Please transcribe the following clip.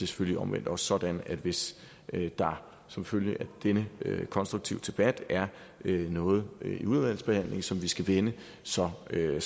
selvfølgelig omvendt også sådan at hvis der som følge af denne konstruktive debat er noget i udvalgsbehandlingen som vi skal vende så ser jeg